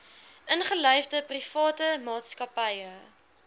ingelyfde private maatskappye